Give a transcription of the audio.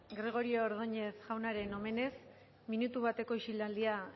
gregorio ordoñez jaunaren omenez minutu bateko isilaldia